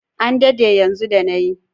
An dade yanzu da na yi.